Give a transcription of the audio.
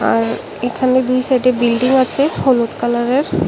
আর এখানে দুই সাইডে বিল্ডিং আছে হলুদ কালারের।